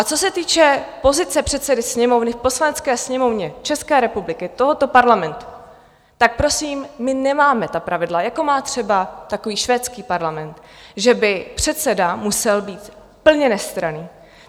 A co se týče pozice předsedy Sněmovny v Poslanecké sněmovně České republiky, tohoto parlamentu, tak prosím, my nemáme ta pravidla, jako má třeba takový švédský parlament, že by předseda musel být plně nestranný.